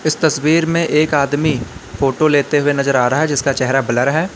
इस तस्वीर में एक आदमी फोटो लेते हुए नजर आ रहा है जिसका चेहरा ब्लर है।